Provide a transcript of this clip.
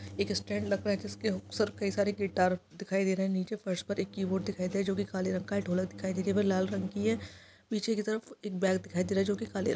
एक स्टैण्ड लगा है जिसके हुक पर कई सारे गिटार दिखाई दे रहे है नीचे फर्श पर एक की - बोर्ड दिखाई दे रहा है जोकि काले रंग का है ढोलक दिखाई दे रहा है वह लाल रंग की है पीछे की तरफ एक गैब दिखाई दे रहा है जोकि काले रंग --